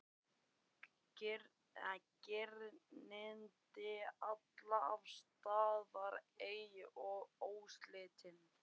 Girndin alltaf til staðar ein og óslitin.